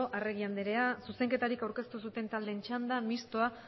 arregi andrea zuzenketarik aurkeztu zuten taldeen txanda mistoa